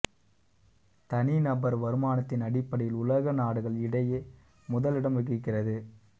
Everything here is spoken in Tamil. தனி நபர் வருமானத்தின் அடிப்படையில் உலக நாடுகள் இடையே முதல் இடம் வகிக்கிறது